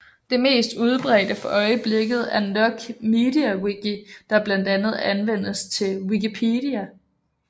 Det mest udbredte for øjeblikket er nok MediaWiki der blandt andet anvendes til Wikipedia